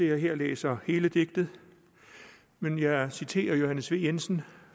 jeg her læser hele digtet men jeg citerer johannes v jensen